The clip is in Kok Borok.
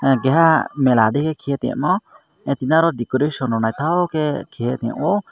keha mela digi kheie temo aro decoration nythok ke keia tong o.